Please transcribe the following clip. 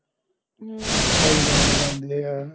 ਹੁੰ ਥਾਈਲੈਂਡ ਜਾਂਦੇ ਆ